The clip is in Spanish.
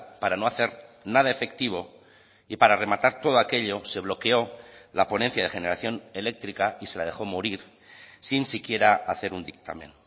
para no hacer nada efectivo y para rematar todo aquello se bloqueó la ponencia de generación eléctrica y se la dejó morir sin siquiera hacer un dictamen